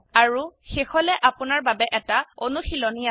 আৰু শেষলৈ আপোনাৰ বাবে এটা অনুশীলনী আছে